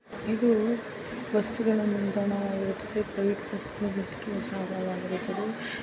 ಇದು ಬಸ್ಸುಗಳ ನಿಲ್ದಾಣ ವಾಗಿರುತ್ತದೆ ಪ್ರೈವೇಟ್ ಬಸ್ಗಳು ನಿಂತಿರುವ ಜಾಗವಾಗಿದೆ.